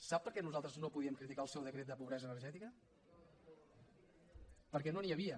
sap per què nosaltres no podíem criticar el seu decret de pobresa energètica perquè no n’hi havia